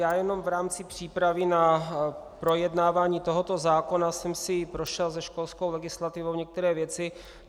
Já jenom v rámci přípravy na projednávání tohoto zákona jsem si prošel se školskou legislativou některé věci.